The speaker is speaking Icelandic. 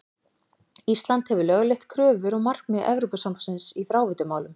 Ísland hefur lögleitt kröfur og markmið Evrópusambandsins í fráveitumálum.